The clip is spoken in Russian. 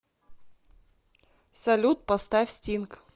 салют поставь стинг